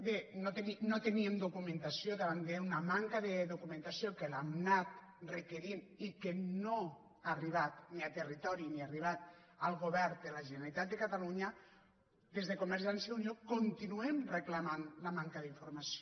bé no teníem documentació davant d’una manca de documentació que l’hem anat requerint i que no ha arribat ni al territori ni ha arribat al govern de la generalitat de catalunya des de convergència i unió continuem reclamant la manca d’informació